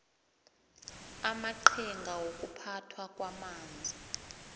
amaqhinga wokuphathwa kwamanzi